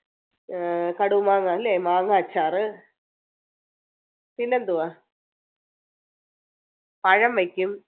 പിന്നെ കടുമാങ്ങ അല്ലെ മാങ്ങ അച്ചാറ് പിന്നെന്തുവാ? പഴം വെക്കും.